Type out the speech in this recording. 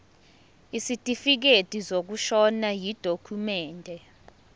isitifikedi sokushona yidokhumende